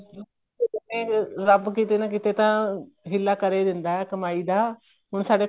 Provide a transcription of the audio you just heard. ਨੇ ਰੱਬ ਕੀਤੇ ਨਾ ਕੀਤੇ ਤਾਂ ਹਿੱਲਾ ਕਰ ਏ ਦਿੰਦਾ ਕਮਾਈ ਦਾ ਹੁਣ ਸਾਡੇ